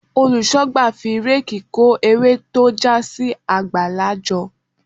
Olùṣọ́gbà fi réèkì kó ewé tó já sí àgbàlá jọ.